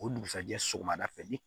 O dugusajɛ sɔgɔmada fɛ ni